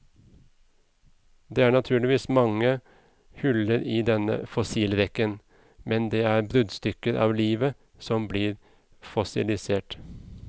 Det er naturligvis mange huller i denne fossilrekken, men det er bruddstykker av livet som blir fossilisert.